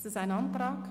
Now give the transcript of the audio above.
Ist das ein Antrag?